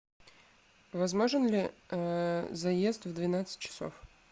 возможен ли заезд в двенадцать часов